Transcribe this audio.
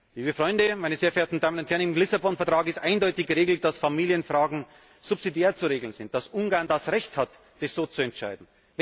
Liebe Freunde, meine sehr verehrten Damen und Herren, im Lissabon Vertrag ist eindeutig geregelt, dass Familienfragen subsidiär zu regeln sind, dass Ungarn das Recht hat, das so zu entscheiden.